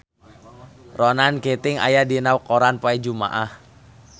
Ronan Keating aya dina koran poe Jumaah